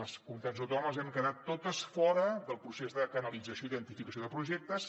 les comunitats autònomes hem quedat totes fora del procés de canalització i identificació de projectes